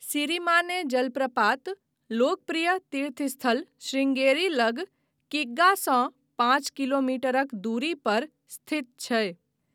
सिरिमाने जलप्रपात लोकप्रिय तीर्थस्थल शृंगेरी लग किग्गासँ पाँच किलोमीटरक दूरी पर स्थित छै।